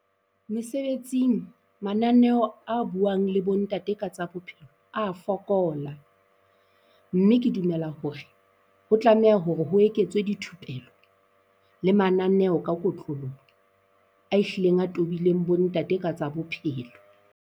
Mesebetsing, mananeo a buang le bo ntate ka tsa bophelo a fokola. Mme ke dumela hore ho tlameha hore ho eketswe dithupelo le mananeho ka kotloloho, a hlileng a tobileng bo ntate ka tsa bophelo.